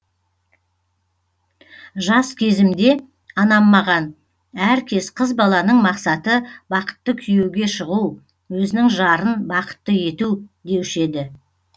жас кезімде анам маған әркез қыз баланың мақсаты бақытты күйеуге шығу өзінің жарын бақытты ету деуші еді